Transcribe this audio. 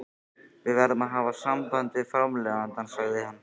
Við verðum að hafa samband við framleiðandann, sagði hann.